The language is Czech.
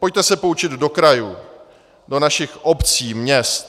Pojďte se poučit do krajů, do našich obcí, měst.